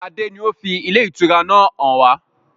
Adé ni ó fi ilé ìtura náà hàn wá.